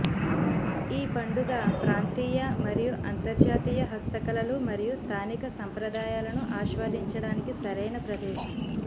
ఈ పండుగ ప్రాంతీయ మరియు అంతర్జాతీయ హస్తకళలు మరియు స్థానిక సంప్రదాయాలను ఆస్వాదించడానికి సరైన ప్రదేశం